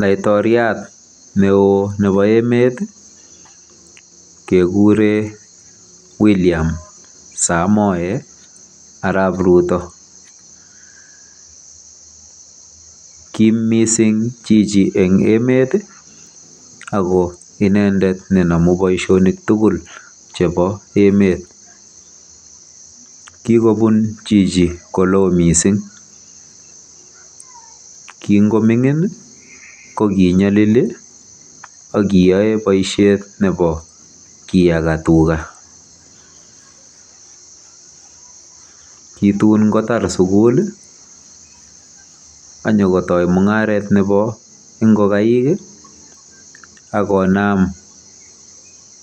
Laitoriat neo nebo emet kekure William Samoei Arap Ruto. Kim mising chichi eng emet ako ine nenomu boisionik tugul chebo emet. Kikobun chichi koloo mising. Kingoming'in ko kinyalili mising akokiyae boisiet nebo kiyaka tuga. Kitun kotar sugul akotoi mungaret nebo ingogaik akonam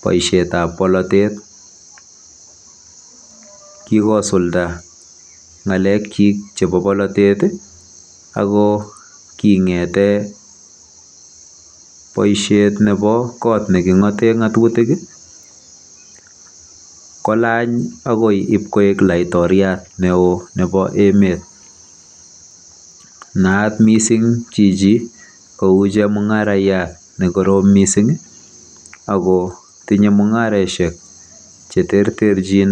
boisietab polotet. Kikosulda ng'alekyik chebo polotet ako kingete boisiet nebo kot neking'ate ng'atutik kolany akoi ipkoek laitoriat neoo nebo emet. Naat mising chichi ko chemung'araiyat nekorom mising ako tinyei mung'areshek cheterterchin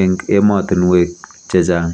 eng emotinwek chechang.